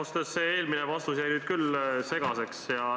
Ausalt öeldes jäi see eelmine vastus minu jaoks segaseks.